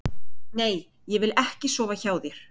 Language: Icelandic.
Nei, ég vil ekki sofa hjá þér.